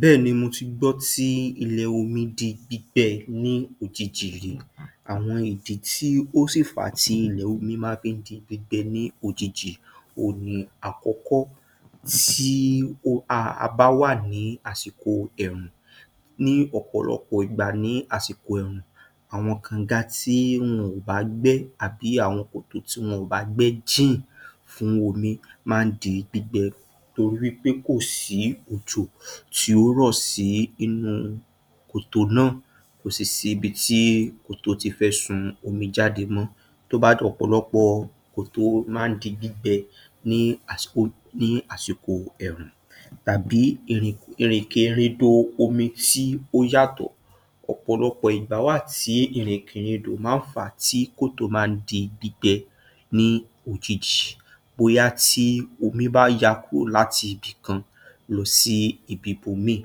Bẹ́ẹ̀ni, mo ti gbọ́ tí ilẹ̀ omi di gbígbẹ ní òjijì rí, àwọn ìdí tí ó sì fà á tí ìlẹ̀ oi ma fi ń di gbígbẹ ní ojiji òhun ni, àkọ́kọ́, tí a bá wà ní àsìkò ẹ̀ẹ̀rùn. Ní ọ̀pọ̀lọgbọ̀ ìgbà ní àsìkò ẹ̀ẹ̀rùn, àwọn kànga tí wọn ò bá gbẹ́ àbi àwọn kòtò tí wọn ò bá gbẹ́ jìn fún omi máa ń di gbígbẹ torí wí pé kò sí òjò tí ó rọ̀ sí inú kòtò náà, kò sì sí ibi tí kòtò ti fẹ́ sun omi jáde mọ́. tó bá ọ̀pọ̀lọpọ̀ kòtò máa ń di gbígbẹ ní àsìkò ẹ̀rùn, tàbí ìrìkèrindò omi tí ó yàtọ̀. Ọ̀pọ̀lọpọ̀ ìgbà wà tí ìrìnkèrindò máa ń fàá tí kòtò máa ń di gbígbẹ ní òjijì. Bóyá tí omi bá ya kúrò láti ibìkan lọ sí ibi ibòmíì,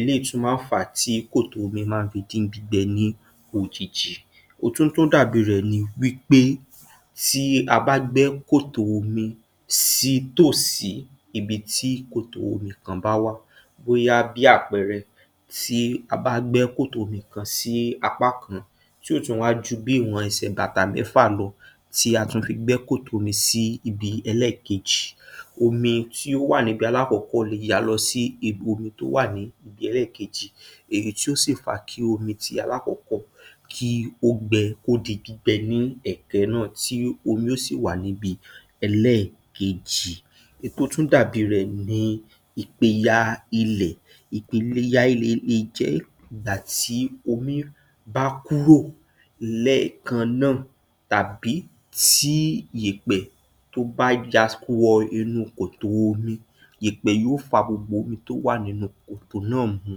eléyìí tún máa ń fàá tí kòtò omi máa ń fi di gbígbẹ ní òjijì. Ohun tó tún dàbí rẹ̀ ni wí pé tí a bá gbẹ́ kòtò omi sí tòsí ibi tí kòtò omi kan bá wà, bóyá bí àpẹẹrẹ, tí a bá gbẹ́ kòtò omi kan sí apá kan tí ò tún wá ju bí ìwọ̀n ẹsẹ̀ bàtà mẹ́fà lọ, tí a tún fi gbẹ́ kòtò omi sí ibi ẹlẹ́ẹ̀kejì, omi tí ó wà níbi alákọ̀ọ́kọ́ le ya lọ sí ibi omi tó wà níbi ẹlẹ́ẹ̀kejì èyí tí ó sì fa kí omi ti alákọ̀ọ́kọ́ kí ó gbẹ, kó di gbígbẹ ní ẹ̀ẹ̀kan náà tí omi ó sì wà níbi ẹlẹ́ẹ̀kejì. Èyí tó tún dàbí rẹ̀ ni ìpìyà ilẹ̀. Ìpìyà ilẹ̀ le jẹ́ ìgbà tí omi bá kúró lẹ́ẹ̀kan náà tàbí tí yèèpẹ̀ tó bá ya wọ inú kòtò omi. Yèèpẹ̀ yó fa gbogbo omi tó wà nínú kòtò náà mu,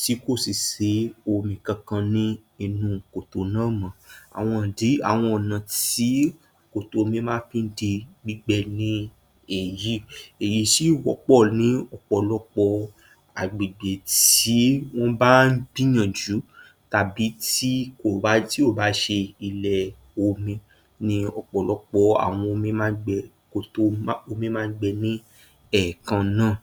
tí kò sì sí omi kankan ní inú kòtò náà mọ́. Àwọn ìdí, àwọn ọ̀nà tí kòtò omi máa fi ń di gbígbẹ ni èyí. Èyí sì wọ́pọ̀ ní ọ̀pọ̀lọpọ̀ agbègbè tí wọ́n bá ń gbìyànjú tàbí tí kò bá ṣe ilẹ̀ omi ni ọ̀pọ̀lọpọ̀ àwọn omi máa ń gbẹ, kòtò omi máa ń gbẹ ní ẹ̀ẹ̀kan náà.